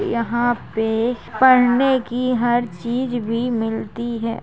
यहाँ पे पढ़ने की हर चीज भी मिलती है ।